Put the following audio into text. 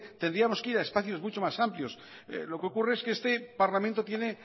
tendríamos que ir a espacios mucho más amplios lo que ocurre es que este parlamento tiene